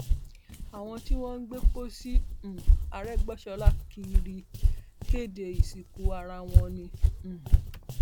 àwọn tí wọn ń gbé pósí um àrégbèsọlá kiri ń kéde ìsìnkú ara wọn ni um